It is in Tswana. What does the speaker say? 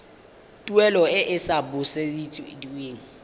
tuelo e e sa busediweng